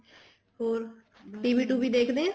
ਹੋਰ TV TV ਦੇਖਦੇ ਓ